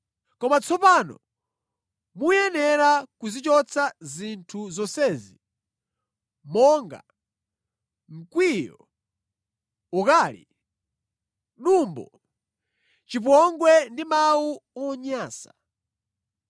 Koma tsopano mukuyenera kuzichotsa zinthu zonsezi monga: mkwiyo, ukali, dumbo, chipongwe ndi mawu onyansa.